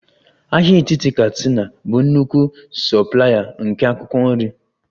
Ahịa etiti katsina bụ nnukwu soplaya nke akwụkwọ nri